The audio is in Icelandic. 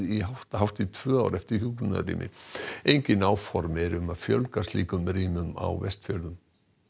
hátt í tvö ár eftir hjúkrunarrými engin áform eru um að fjölga slíkum rýmum á Vestfjörðum